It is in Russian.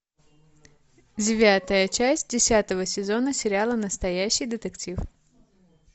девятая часть десятого сезона сериала настоящий детектив